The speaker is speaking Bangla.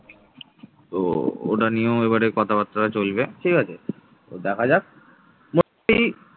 তো ওটা নিয়েও এবারে কথা বার্তা চলবে ঠিকাছে দেখা